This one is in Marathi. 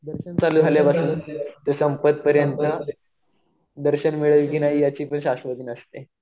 दर्शन चालू झाल्यापासून ते संपेपर्यंत दर्शन मिळेल कि नाही याची पण शाश्वती नसते.